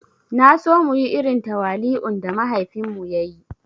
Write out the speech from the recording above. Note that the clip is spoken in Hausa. Naso muyi irin tawali'un da mahaifin mu ya yi